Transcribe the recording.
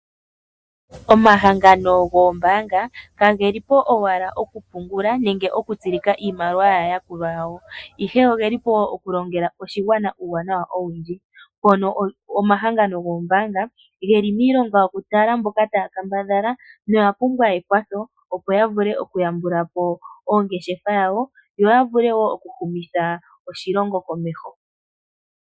Omahangano goombaanga, kage li po owala oku pungula nenge oku tsilika iimaliwa yaa yakulwa yawo. Ihe oge lipo oku longela oshigwana uuwanawa owundji, mpono omahangano goombaanga geli miilonga yoku tala mboka taya kambadhala noya pumbwa ekwatho opo yavule oku yambula po ongeshefa yawo yo yavule wo oku humitha oshilongo komeho.